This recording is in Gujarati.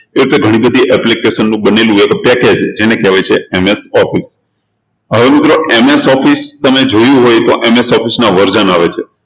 એ રીતે ઘણી બધી application નું બનેલું હોય package એને કહેવાય છે MS Office હવે MS Office તમે જોયું હોય તો MS Office ના version આવે છે.